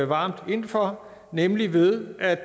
varmt ind for nemlig ved at